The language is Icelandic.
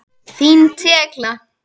Þín Tekla.